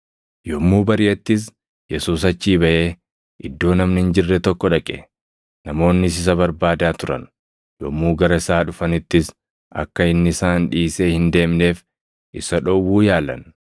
Yommuu bariʼettis Yesuus achii baʼee, iddoo namni hin jirre tokko dhaqe. Namoonnis isa barbaadaa turan; yommuu gara isaa dhufanittis akka inni isaan dhiisee hin deemneef isa dhowwuu yaalan.